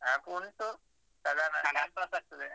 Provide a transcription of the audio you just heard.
ಹಾ ಉಂಟು ಸಾದಾರಣ time pass ಆಗ್ತದೆ.